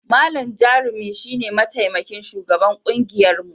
Malam Jarumi shi ne mataimakin shugaban kungiyarmu.